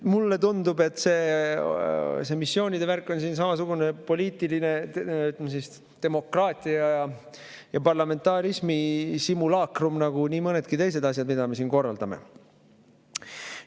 Mulle tundub, et see missioonide värk on siin samasugune poliitiline demokraatia ja parlamentarismi simulaakrum nagu nii mõnedki teised asjad, mida me siin korraldame.